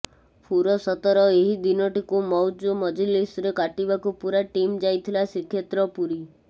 ଫୁରସତର ଏହି ଦିନଟିକୁ ମଉଜମଜଲିସରେ କାଟିବାକୁ ପୁରା ଟିମ୍ ଯାଇଥିଲା ଶ୍ରୀକ୍ଷେତ୍ର ପୁରୀ